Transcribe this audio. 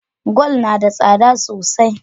Gwal nada tsada sosai